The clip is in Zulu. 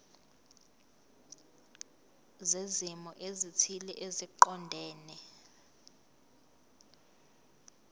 zezimo ezithile eziqondene